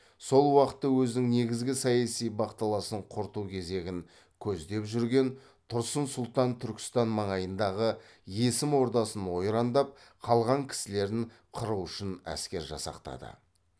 сол уақытта өзінің негізгі саяси бақталасын құрту кезегін көздеп жүрген тұрсын сұлтан түркістан маңайындағы есім ордасын ойрандап қалған кісілерін қыру үшін әскер жасақтады